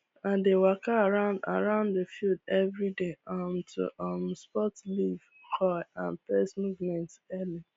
i dey waka around around the field every day um to um spot leaf curl and pest movement early